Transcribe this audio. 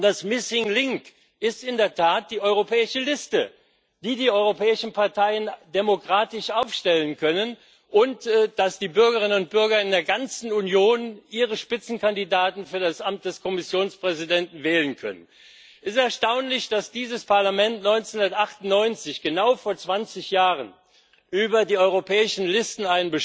Das missing link ist in der Tat die europäische Liste, die die europäischen Parteien demokratisch aufstellen können, und dass die Bürgerinnen und Bürger in der ganzen Union ihre Spitzenkandidaten für das Amt des Kommissionspräsidenten wählen können. Es ist erstaunlich, dass dieses Parlament 1998 genau vor 20 Jahren einen Beschluss über die europäischen Listen